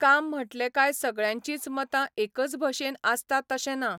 काम म्हटले कांय सगळ्यांचींच मतां एकच भशेन आसता तशें ना.